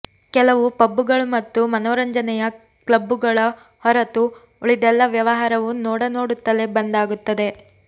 ಕೆಲವು ಪಬ್ಬುಗಳು ಮತ್ತು ಮನೋರಂಜನೆಯ ಕ್ಲಬ್ಬುಗಳ ಹೊರತು ಉಳಿದೆಲ್ಲ ವ್ಯವಹಾರವು ನೋಡನೋಡುತ್ತಲೇ ಬಂದ್ ಆಗುತ್ತದೆ